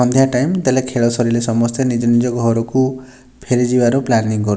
ସନ୍ଧ୍ୟା time ଦେଲେ ଖେଳ ସାରିଲେ ସମସ୍ତେ ନିଜ ନିଜ ଘରୁକୁ ଫେରି ଯିବାର ପ୍ଲାନିଗ୍ କରୁ --